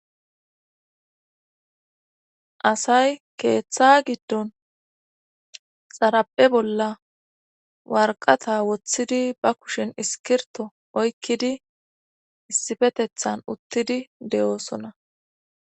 Asay keeththa giddon xarape bolla warqata woththidi ba kushin iskirto oykkidi issifetethan uttidi de'oosona.